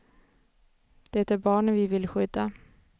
Det är barnen vi vill skydda.